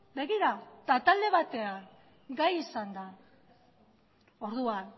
begira eta talde batean gai izan da orduan